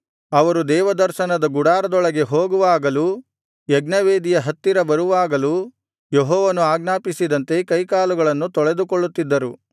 ಅವರು ದೇವದರ್ಶನದ ಗುಡಾರದೊಳಗೆ ಹೋಗುವಾಗಲೂ ಯಜ್ಞವೇದಿಯ ಹತ್ತಿರ ಬರುವಾಗಲೂ ಯೆಹೋವನು ಆಜ್ಞಾಪಿಸಿದಂತೆ ಕೈಕಾಲುಗಳನ್ನು ತೊಳೆದುಕೊಳ್ಳುತ್ತಿದ್ದರು